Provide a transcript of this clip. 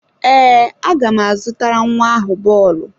Ee, aga m azụtara nwa ahụ bọọlụ.